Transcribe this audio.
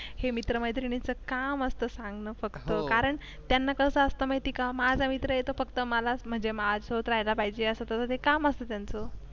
हे मित्र-मैत्रिणीचं काम असतं सांग ना फक्त कारण त्यांना कसं असतं माहिती का माझा मित्र आहे तो फक्त मलाच म्हणजे माझ होत राहिला पाहिजे असेल तर ते काम असतं त्यांचं.